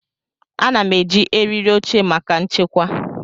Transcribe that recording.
Ana m eji eriri oche maka nchekwa.